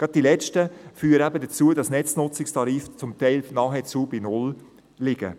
Gerade die letzteren führen dazu, dass die Netznutzungstarife zum Teil nahezu bei null liegen.